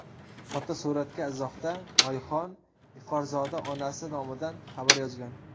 Fotosuratga izohda Oyxon Iforzoda onasi nomidan xabar yozgan.